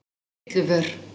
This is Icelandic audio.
Litluvör